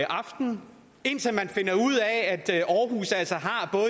aftenen indtil man finder ud af